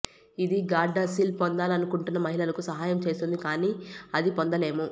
ఇది గార్డాసిల్ పొందాలనుకుంటున్న మహిళలకు సహాయం చేస్తుంది కానీ అది పొందలేము